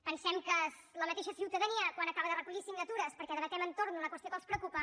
pensem que la mateixa ciutadania quan acaba de recollir signatures perquè debatem entorn d’una qüestió que els preocupa